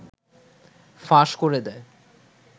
ফাঁস করে দেয়